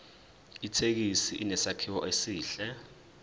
ithekisi inesakhiwo esihle